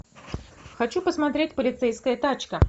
хочу посмотреть полицейская тачка